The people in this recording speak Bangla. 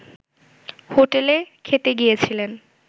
হোটেলে খেতে গিয়েছিলেন